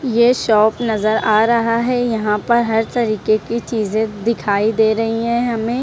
ये शॉप नजर आ रहा है यहां पर हर तरीके की चीजें दिखाई दे रही हैं हमें।